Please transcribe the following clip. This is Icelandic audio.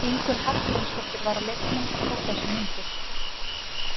Ingunn Hallgrímsdóttir var á leiknum og tók þessar myndir.